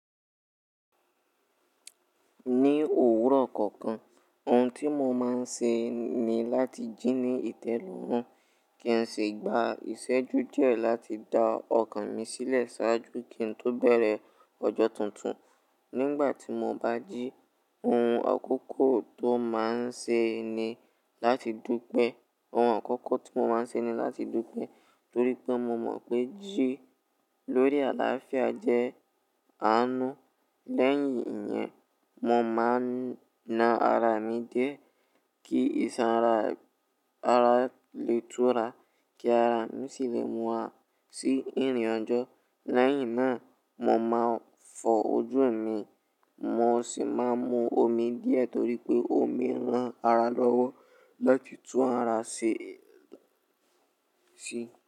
Ní òwúrọ̀ kọ̀ọ̀kan, ohun tí mo máa ń ṣe ni láti jí ní ìtẹ́lọ́rùn. Kí n sì gba ìṣẹ́jú jẹ́ láti da ọkàn mi sílẹ̀ ṣáájú kí n tó bẹ̀rẹ̀ ọjọ́ tuntun. Nígbà tí mo bá jí, ohun àkọ́kọ́ tó máa ń ṣe ni láti dúpẹ́. Ohun àkọ́kọ́ tí mo máa ń ṣe ni láti dúpẹ́ torí pé mo mọ̀ pé jí lórí àlàáfíà jẹ́ àánú. Lẹ́yìn ìyẹn, mo máa na ara mi di e, kí ìsanra ara lè túra kí ara mi sì lè mú a sí ìrìn ọjọ́. Lẹ́yìn náà, mo máa fọ ojú mi, mo sì máa mu omi díẹ̀ torí pé omi ran ara lọ́wọ́ láti tú ara ṣe ṣe.